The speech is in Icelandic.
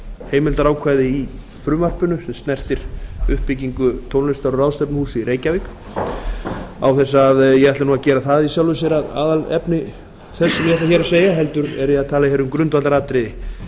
heimildarákvæði í frumvarpinu sem snertir uppbyggingu tónlistar og ráðstefnuhúss í reykjavík án þess að ég ætli að gera það í sjálfu sér að aðalefni þess sem ég ætla hér að segja heldur er ég hér að tala um grundvallaratriði